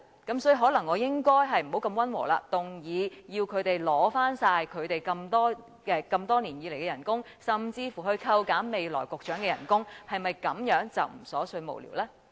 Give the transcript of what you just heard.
所以，可能我應該不要如此溫和，而應動議要求他們交還多年來的薪酬，甚至扣減局長未來的薪酬，是否這樣便不瑣碎無聊呢？